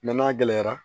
Nɔnɔ gɛlɛyara